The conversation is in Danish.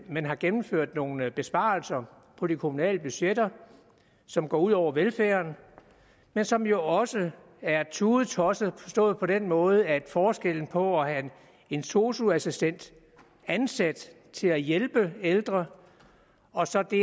man har gennemført nogle besparelser på de kommunale budgetter som går ud over velfærden men som jo også er tudetosset forstået på den måde at forskellen på at have en sosu assistent ansat til at hjælpe de ældre og så det